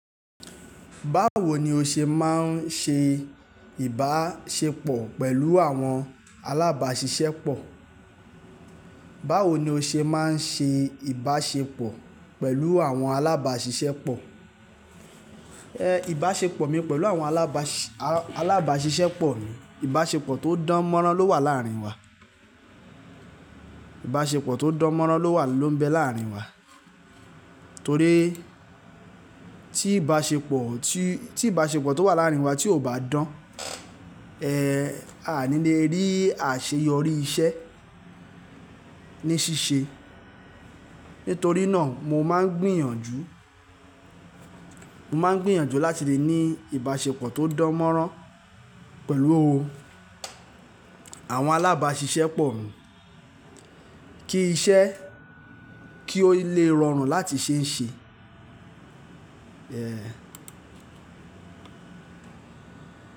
Báwo ni o ṣe máa ń ṣe ìbáṣepọ̀ pẹ̀lú àwọn alábàáṣiṣẹ́ pọ̀? Báwo ni o ṣe máa ń ṣe ìbáṣepọ̀ pẹ̀lú àwọn alábàáṣiṣẹ́ pọ̀? Ìbáṣepọ̀ mi pẹ̀lú àwọn alábàáṣiṣẹ́ pọ̀ ni ìbáṣepọ̀ tó dán mọ́rán ló wà láàrin wa. Ìbáṣepọ̀ tó dán mọ́rán ló wà ló ń bẹ láàrin wa. Torí tí ìbáṣepọ̀ tó wà láàrin wa tí kò bá dán, a à ní lè rí àṣeyọrí iṣẹ́ ní ṣíṣe. Nítorí náà mo máa ń gbìyànjú, mo máa ń gbìyànjú láti lè ní ìbáṣepọ̀ tó dán mọ́rán pẹ̀lú o, àwọn alábàáṣiṣẹ́ pọ̀ mi kí iṣẹ́ kí o lè rọrùn láti ṣe ń ṣe.